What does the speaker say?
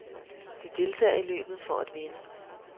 De deltager i løbet for at vinde.